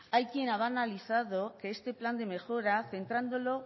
hay quien ha banalizado que este plan de mejora centrándolo